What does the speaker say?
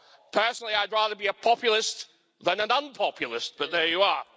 Personally, I'd rather be a populist than an un populist, but there you are.